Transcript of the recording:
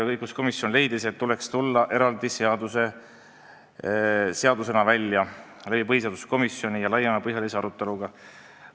Õiguskomisjon leidis, et tuleks välja tulla eraldi seaduseelnõuga ja teemat koos põhiseaduskomisjoniga laiemalt arutada.